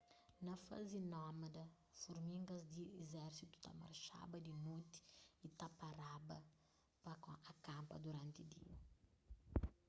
na fazi nómada furmigas di izérsitu ta marxaba di noti y ta paraba pa akanpa duranti dia